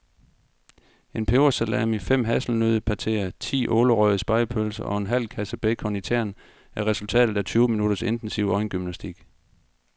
En pebersalami, fem hasselnøddepateer, ti ålerøgede spegepølser og en halv kasse bacon i tern er resultatet af tyve minutters intensiv øjengymnastik.